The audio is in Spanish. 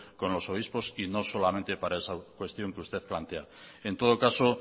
con los obispos y no solamente para esa cuestión que usted plantea en todo caso